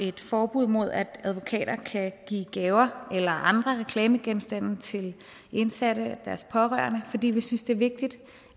et forbud mod at advokater kan give gaver eller andre reklamegenstande til indsatte og deres pårørende fordi vi synes det er vigtigt